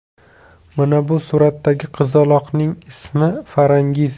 Mana bu suratdagi qizaloqning ismi Farangiz.